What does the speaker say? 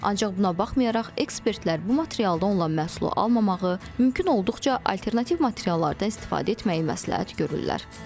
Ancaq buna baxmayaraq, ekspertlər bu materialda olan məhsulu almamağı, mümkün olduqca alternativ materiallardan istifadə etməyi məsləhət görürlər.